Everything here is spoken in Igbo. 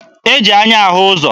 E ji anya ahụ ụzọ.